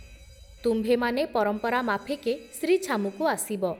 ତୁମ୍ଭେମାନେ ପରମ୍ପରା ମାଫିକେ ଶ୍ରୀ ଛାମୁକୁ ଆସିବ ।